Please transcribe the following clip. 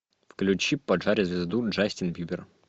включи поджарь звезду джастин бибер